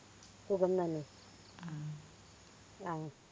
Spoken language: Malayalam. സുഖം തന്നെ ഉം അഹ്